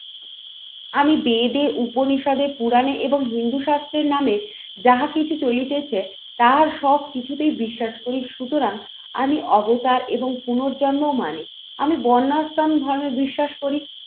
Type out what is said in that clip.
আমি বেদে উপনিষদে পুরাণে এবং হিন্দু শাস্ত্রের নামে যাহা কিছু চলিতেছে তার সব কিছুতেই বিশ্বাস করি সুতরাং আমি অবতার এবং পুনর্জন্মও মানে আমি বন্যাশ্রম ধর্মে বিশ্বাস করি।